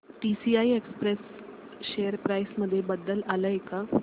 TCI express share price मध्ये बदल आलाय का